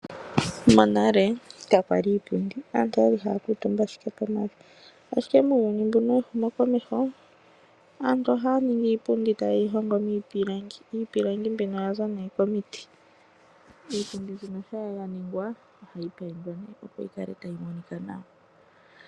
Monale kakwali iipundi aantu okwali haya kuutumba pomavi. Ashike muuyuni mbuno wehumo komeho aantu ohaya mono iipundi tayeyi hongo miipilangi yaza komiti. Iipundi mbika ohayi paindwa opo yikale tayi monika nawa.